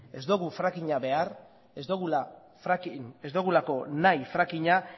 ez dogu francking a behar ez dogulako nahi francking a